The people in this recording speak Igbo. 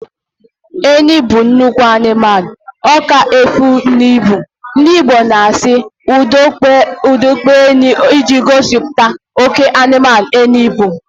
Enyi bụ nnukwu anụmanụ, ọka efi na ibu, ndị Igbo na asị 'ụdọ akpụ enyi' iji gosipụta oké anụmanụ enyi bụ